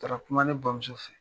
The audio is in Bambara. Taara kuma ne bamuso fɛ.